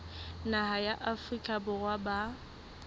naha ya afrika borwa ba